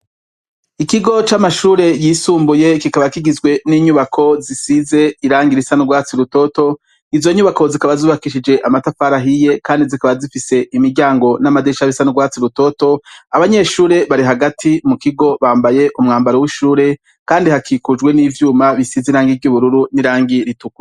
Ikigo c’amashure y’isumbuye kikaba kigizwe n’inyubako zisize ibara risa n’urwatsi rutoto, izo nyubako zikaba zubakishije amatafari ahiye Kandi zikaba zifise imiryango n’amadirisha bisa n’ugwatsi rutoto, abanyeshure bari hagati mukigo bambaye umwambaro w’ishure Kandi hakikujwe n’ivyuma bisize irangi ry’ubururu n’irangi ritukura.